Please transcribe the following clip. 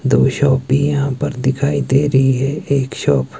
दो शॉप भी यहां पर दिखाई दे रही है एक शॉप --